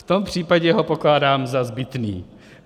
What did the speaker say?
V tom případě ho pokládám za zbytný.